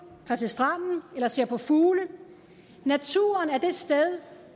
tager til stranden eller ser på fugle naturen er det sted